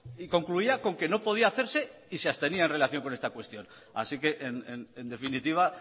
y concluía con que no podía hacerse y se abstenía en relación con esta cuestión así que en definitiva